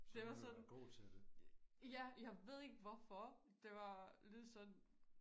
det var sådan ja jeg ved ikke hvorfor det var lyder sådan